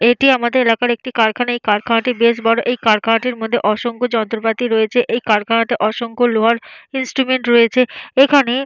এটি আমাদের এলাকার একটি কারখানা। এই কারখানাটি বেশ বড়। এই কারখানাটির মধ্যে অসংখ্য যন্ত্রপাতি রয়েছে। এই কারখানাতে অসংখ্য লোহার ইনস্ট্রুমেন্ট রয়েছে। এখানে --